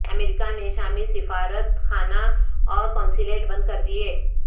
امریکہ نے شامی سفارت خانہ اور قونصلیٹ بند کر دیے